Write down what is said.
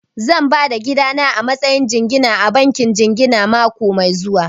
Zan ba da gidana a matsayin jingina a bankin jingina mako mai zuwa